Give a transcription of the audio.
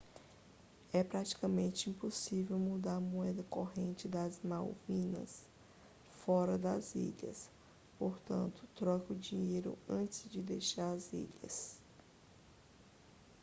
é praticamente impossível mudar a moeda corrente das malvinas fora das ilhas portanto troque o dinheiro antes de deixar as ilhas